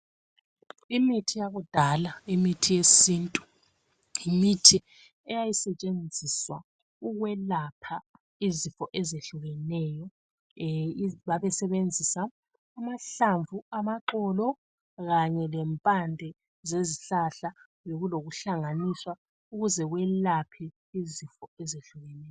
Imithi yakudala imithi yesintu yimithi eyayisetshenziswa ukwelapha izifo ezehlukeneyo babesebenzisa amahlamvu, amaxolo kanye lempande zezihlahla bekulokuhlanganiswa ukuze kwelaphe izifo ezehlukeneyo.